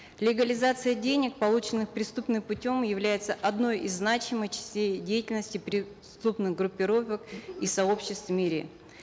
легализация денег полученных преступным путем является одной из значимых частей деятельности преступных группировок и сообществ в мире